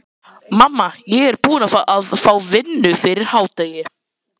Mamma, ég er búinn að fá vinnu fyrir hádegi.